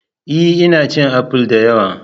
Ee! Ina cin apple da yawa.